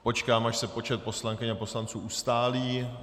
Počkám, až se počet poslankyň a poslanců ustálí.